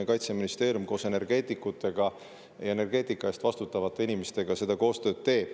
Kaitseministeerium teeb koostööd energeetikutega, energeetika eest vastutavate inimestega.